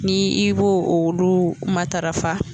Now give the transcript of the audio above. Ni i b'o olu matarafa